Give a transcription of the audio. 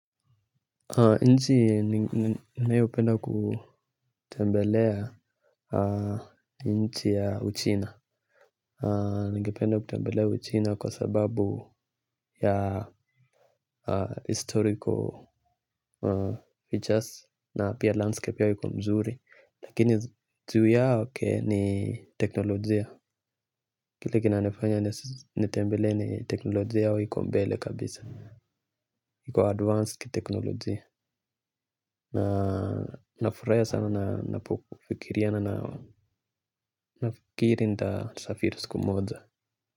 Nchi ninayopenda kutembelea ni nchi ya uchina. Ningependa kutembelea uchina kwa sababu ya historical features. Na pia landscape yao iko nzuri. Lakini zaidi ya yote ni teknolojia. Kile kinanifanya nitembelee ni tekinolojia yao yiko mbele kabisa. Iko advanced tekinolojia. Nafurahi sana napofikiria na nafikiri nitasafiri siku moja.